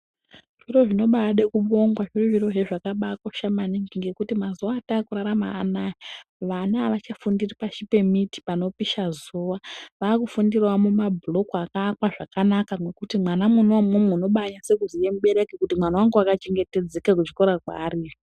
Zviro zvinobade kubongwa zviri zvirozve zvakakosha maningi ngekuti mazuwa atakurarama anaya vana avachafundiri pashi pemiti panopisha zuwa vakufundirawo muma bhuloku akaakwa zvakanaka ngekuti mwana mwona imwomwo unobanyase kuziya mubereki kuti mwana wangu akachengetedzeka kuchikora kwaari iyo.